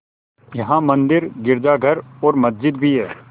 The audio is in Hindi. यहाँ मंदिर गिरजाघर और मस्जिद भी हैं